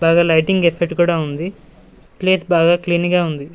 బాగా lighting effect కూడా ఉంది ప్లేస్ బాగా క్లీన్ గా ఉంది.